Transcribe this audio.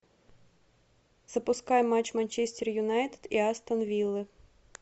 запускай матч манчестер юнайтед и астон виллы